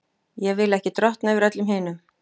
Ég vil ekki drottna yfir öllum hinum.